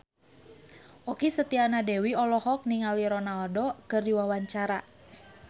Okky Setiana Dewi olohok ningali Ronaldo keur diwawancara